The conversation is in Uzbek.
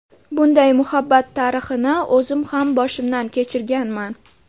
Bunday muhabbat tarixini o‘zim ham boshimdan kechirganman.